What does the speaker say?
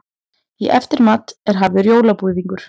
Í eftirmat er hafður jólabúðingur.